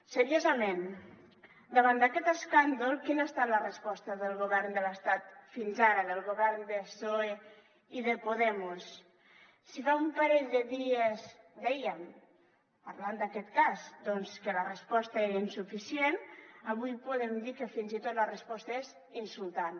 seriosament davant d’aquest escàndol quina ha estat la resposta del govern de l’estat fins ara del govern de psoe i de podemos si fa un parell de dies dèiem parlant d’aquest cas que la resposta era insuficient avui podem dir que fins i tot la resposta és insultant